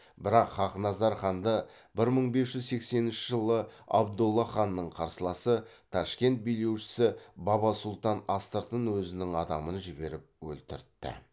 бірақ хақназар ханды бір мың бес жүз сексенінші жылы абдолла ханның қарсыласы ташкент билеушісі баба сұлтан астыртын өзінің адамын жіберіп өлтіртті